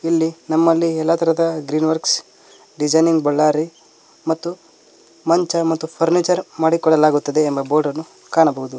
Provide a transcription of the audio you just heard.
ಇಲ್ಲಿ ನಮ್ಮಲ್ಲಿ ಎಲ್ಲಾ ತರದ ಗ್ರೀನ್ ವರ್ಕ್ಸ್ ಡಿಸೈನಿಂಗ ಬಳ್ಳಾರಿ ಮತ್ತು ಮಂಚ ಮತ್ತು ಫರ್ನಿಚರ್ ಮಾಡಿಕೊಳ್ಳಲಾಗುತ್ತಾದೆ ಎಂಬ ಬೋರ್ಡ್ ನ್ನು ಕಾಣಬಹುದು.